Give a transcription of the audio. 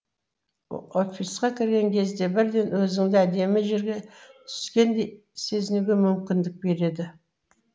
офисқа кірген кезде бірден өзіңді әдемі жерге түскендей сезінуге мүмкіндік береді